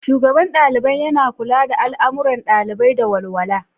Shugaban Dalibai: Yana kula da al'amuran ɗalibai da walwala.